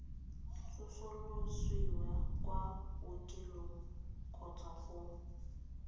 tsosolosiwa kwa bookelong kgotsa go